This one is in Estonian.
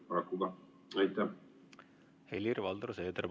Helir-Valdor Seeder, palun!